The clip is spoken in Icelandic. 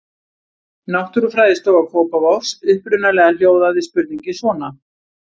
Náttúrufræðistofa Kópavogs Upprunalega hljóðaði spurningin svona: